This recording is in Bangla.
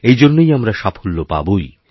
এই জন্যই আমরা সাফল্যপাবোই